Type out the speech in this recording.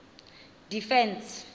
defence